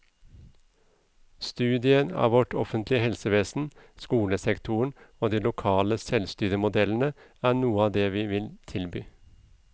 Studier av vårt offentlige helsevesen, skolesektoren og de lokale selvstyremodellene er noe av det vi vil tilby.